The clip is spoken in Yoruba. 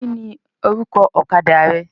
Kini orúkọ ọ̀kadà rẹ?